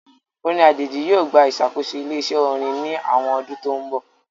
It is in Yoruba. Orin ajeji yoo gba isakoso ile-iṣẹ orin ni awọn ọdun to nbọ.